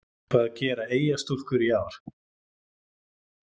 Hvað gera Eyjastúlkur í ár?